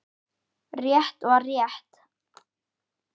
Rétt var rétt.